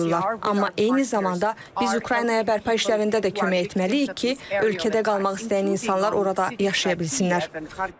Amma eyni zamanda biz Ukraynaya bərpa işlərində də kömək etməliyik ki, ölkədə qalmaq istəyən insanlar orada yaşaya bilsinlər.